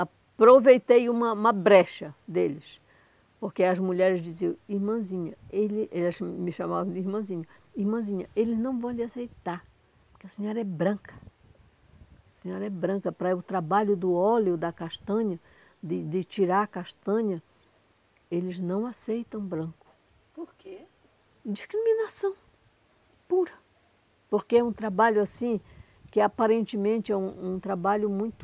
Aproveitei uma uma brecha deles, porque as mulheres diziam, irmãzinha, ele eles me chamavam de irmãzinha, irmãzinha, eles não vão lhe aceitar, porque a senhora é branca, a senhora é branca, para o trabalho do óleo da castanha, de de tirar a castanha, eles não aceitam branco, porque? discriminação pura, porque é um trabalho assim, que aparentemente é um um trabalho muito,